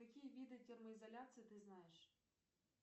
какие виды термоизоляции ты знаешь